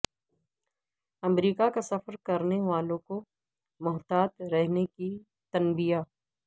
امریکہ کا سفر کرنے والوں کو محتاط رہنے کی تنبیہ